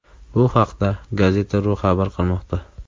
Bu haqda Gazeta.ru xabar qilmoqda .